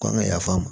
Kɔn bɛ yafa ma